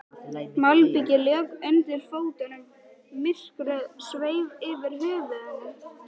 Malbikið lék undir fótunum, myrkrið sveif yfir höfðunum.